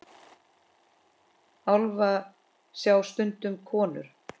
Álfa sjá stundum konur.